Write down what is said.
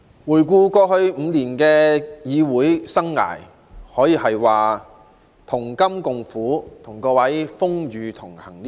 回顧過去5年的議會生涯，各位可謂同甘共苦，風雨同行。